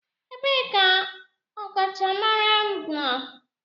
Ebee ka ọkachamara nọ?